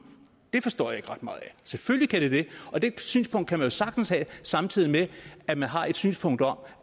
forstår jeg ikke ret meget af selvfølgelig kan det det og det synspunkt kan man jo sagtens have samtidig med at man har et synspunkt om